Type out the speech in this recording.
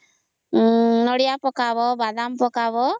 ନଡ଼ିଆ ପକଵା ବାଦାମ ପକଵା